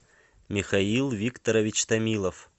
михаил викторович томилов